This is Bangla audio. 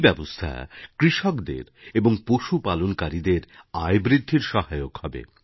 এই ব্যবস্থা কৃষকদের এবং পশুপালনকারীদের আয় বৃদ্ধির সহায়ক হবে